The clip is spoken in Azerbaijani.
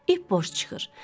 İp boş çıxır.